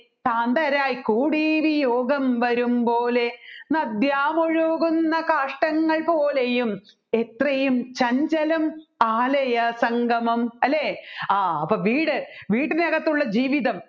കാന്ധരായി കൂടി വിയോഗം വരുംപ്പോലെ നദ്യാമൊഴുകുന്ന കാഷ്ടങ്ങൾ പോലെയും എത്രയും ചഞ്ചലം ആലയസംഗമം അപ്പോൾ വീട് വീട്ടിനകത്തുള്ള ജീവിതം